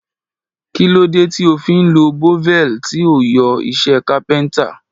Kí ló dé tí o fi ń lo bevel tí ó ń yọ iṣẹ́ kápẹ́ntà?